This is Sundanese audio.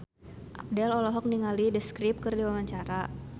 Abdel olohok ningali The Script keur diwawancara